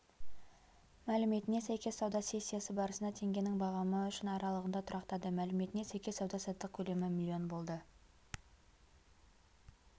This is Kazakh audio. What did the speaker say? мәліметіне сәйкес сауда сессиясы барысында теңгенің бағамы үшін аралығында тұрақтады мәліметіне сәйкес сауда-саттық көлемі млн болды